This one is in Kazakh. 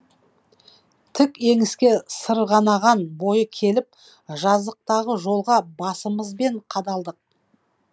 тік еңіске сырғанаған бойы келіп жазықтағы жолға басымызбен қадалдық